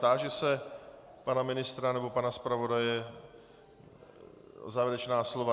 Táži se pana ministra nebo pana zpravodaje o závěrečná slova.